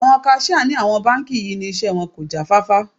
Àwọn kaṣíà ní àwọn báńkì yí ni iṣẹ́ wọn kò já fáfá.